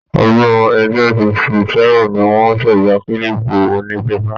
Ọdún 1867 ní wọ́n ṣẹ̀dá kílìpù onípépà.